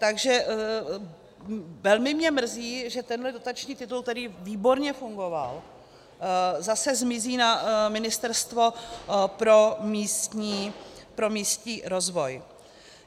Takže mě velmi mrzí, že tenhle dotační titul, který výborně fungoval, zase zmizí na Ministerstvo pro místní rozvoj.